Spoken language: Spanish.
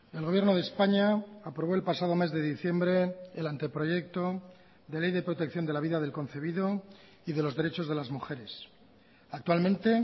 el gobierno de españa aprobó el pasado mes de diciembre el anteproyecto de ley de protección de la vida del concebido y de los derechos de las mujeres actualmente